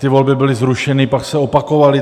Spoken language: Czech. Ty volby byly zrušeny, pak se opakovaly.